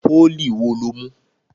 Pólì wo lo mú?